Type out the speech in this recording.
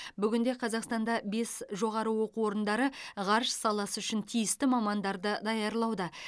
бүгінде қазақстанда бес жоғары оқу орындары ғарыш саласы үшін тиісті мамандарды даярлауда